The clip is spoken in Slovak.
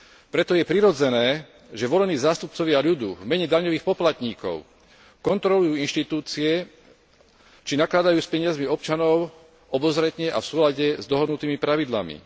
Preto je prirodzené, že volení zástupcovia ľudu v mene daňových poplatníkov kontrolujú inštitúcie, či nakladajú s peniazmi občanov obozretne a v súlade s dohodnutými pravidlami.